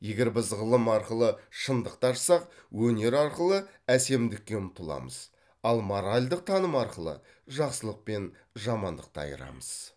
егер біз ғылым арқылы шындықты ашсақ өнер арқылы әсемдікке ұмтыламыз ал моральдық таным арқылы жақсылық пен жамандықты айырамыз